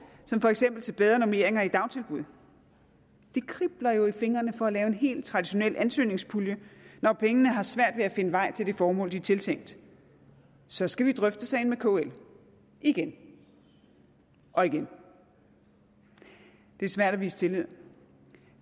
som for eksempel bedre normeringer i dagtilbud det kribler jo i fingrene for at lave en helt traditionel ansøgningspulje når pengene har svært ved at finde vej til det formål de er tiltænkt så skal vi drøfte sagen med kl igen og igen det er svært at vise tillid